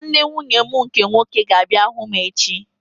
Nwanne nwunye m nke nwoke ga-abịa hụ m echi